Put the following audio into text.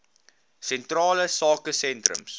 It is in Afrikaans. sentrale sake sentrums